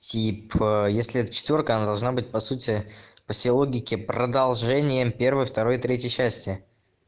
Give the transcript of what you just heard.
типа если это четвёрка она должна быть по сути по сей логике продолжением первой второй третьей части